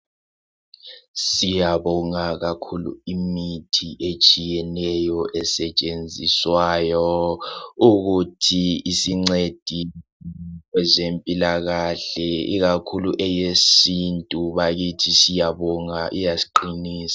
siyabonga akakhulu imithi etshiyeneyo esetshenziswayo ukuthi isincede kwezempilakahle ikakhulu eyesintu bakithi siyabonga iyasiqinisa